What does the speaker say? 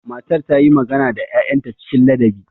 Matar ta yi magana da 'ya'yanta cikin ladabi.